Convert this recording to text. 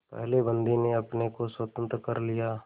पहले बंदी ने अपने को स्वतंत्र कर लिया